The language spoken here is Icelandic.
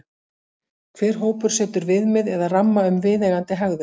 Hver hópur setur viðmið eða ramma um viðeigandi hegðun.